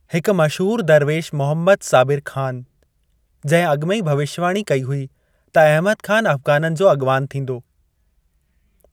हिक मशहूर दरवेश मोहम्मद साबिर ख़ान, जंहिं अॻिमें ई भविष्यवाणी कई हुई त अहमद ख़ान अफ़गाननि जो अॻिवान थींदो।